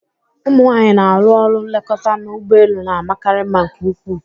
Ụmụ nwanyị na-arụ ọrụ nlekọta n'ụgbọelu na-amakarị mma nke ukwu.